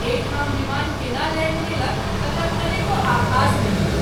एहि ठाम विमान केना लैंड केलक तकर कनेको आभास नहिं भेल।